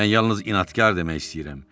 Mən yalnız inadkar demək istəyirəm.